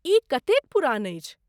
ई कतेक पुरान अछि?